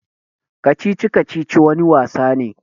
Kacici-kacici wani wasa ne.